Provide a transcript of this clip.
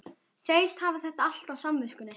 Segist hafa þetta allt á samviskunni.